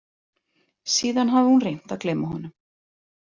Síðan hafði hún reynt að gleyma honum.